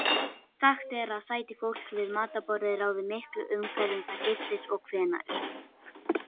Sagt er að sæti fólks við matarborðið ráði miklu um hverjum það giftist og hvenær.